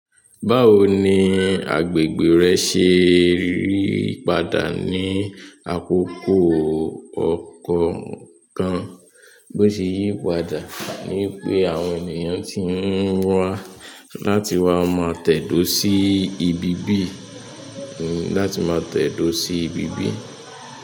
Báwo ni agbègbè rẹ ṣe yípadà ní àkókò ọkọọkan? Bó ṣe yípadà ní pé àwọn ènìyàn tí ń wá láti wá máa tẹ̀dó sí ibi bíì, láti máa tẹ̀dó sí ibí bíì?